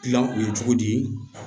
Gilan o ye cogo di